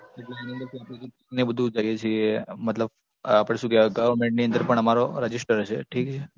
એટલે એની અંદર શું આપડે કૈક એવું બધું કરીએ છીએ મતલબ આપડે શું કેવાય Government ની અંદર પણ અમારો register છે ઠીક છે